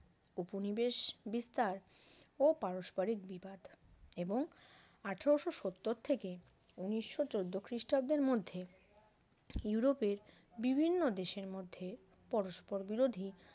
উপনিবেশ বিস্তার ও পারস্পরিক বিবাদ এবং আঠারোশো সত্তর থেকে ঊনিশো চোদ্দ খ্রিস্টাব্দের মধ্যে ইউরোপের বিভিন্ন দেশের মধ্যে পরস্পর বিরোধী